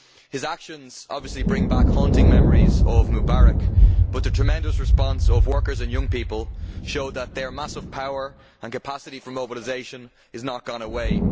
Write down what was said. His actions obviously bring back haunting memories of Mubarak, but the tremendous response of workers and young people show that their massive power and capacity for mobilisation has not gone away.